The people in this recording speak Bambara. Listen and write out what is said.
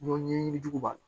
Ɲɔn ɲɛɲini jugu ma